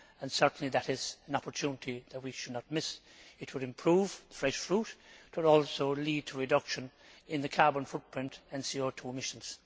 Certainly that is an opportunity that we should not miss. It would improve fresh fruit and it would also lead to a reduction in the carbon footprint and CO 2 emissions.